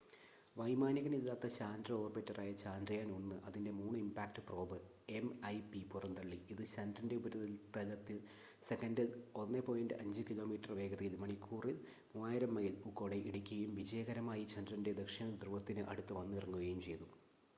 വൈമാനികനില്ലാത്ത ചാന്ദ്ര ഓർബിറ്ററായ ചന്ദ്രയാൻ- 1 അതിന്റെ മൂൺ ഇമ്പാക്ട് പ്രോബ് എംഐപി പുറന്തള്ളി ഇത് ചന്ദ്രന്റെ ഉപരിതലത്തിൽ സെക്കൻഡിൽ 1.5 കിലോമീറ്റർ വേഗതയിൽ മണിക്കൂറിൽ 3000 മൈൽ ഊക്കോടെ ഇടിക്കുകയും വിജയകരമായി ചന്ദ്രന്റെ ദക്ഷിണ ധ്രുവത്തിന് അടുത്ത് വന്നിറങ്ങുകയും ചെയ്തു